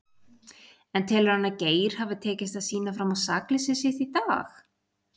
En telur hann að Geir hafi tekist að sýna fram á sakleysi sitt í dag?